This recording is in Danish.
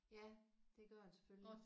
Ja det gør den selvfølgelig